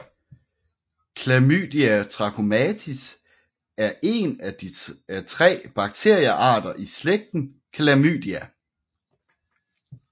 Chlamydia trachomatis er en af tre bakteriearter i slægten Chlamydia